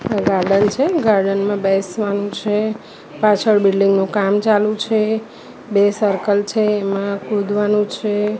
આ ગાર્ડન છે ગાર્ડન માં બેસવાનું છે પાછળ બિલ્ડીંગ નું કામ ચાલુ છે બે સર્કલ છે એમા કૂદવાનું છે.